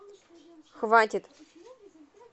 хватит